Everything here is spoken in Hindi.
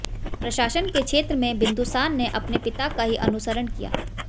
प्रशासन के क्षेत्र में बिन्दुसार ने अपने पिता का ही अनुसरण किया